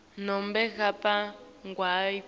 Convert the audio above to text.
nobe ngabe nguwuphi